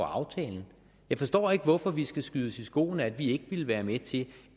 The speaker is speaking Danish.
af aftalen jeg forstår ikke hvorfor vi skal skydes i skoene at vi ikke ville være med til